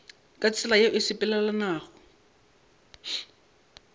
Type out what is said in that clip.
ka tsela yeo e sepelelanago